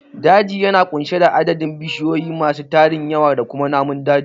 Daji yana ƙunshe da adadin bishiyu masu tarin yawa da kuma namun daji